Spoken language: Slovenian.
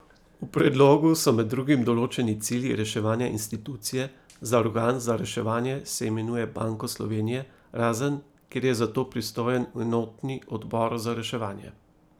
V predlogu so med drugim določeni cilji reševanja institucije, za organ za reševanje se imenuje Banko Slovenije, razen, kjer je za to pristojen enotni odbor za reševanje.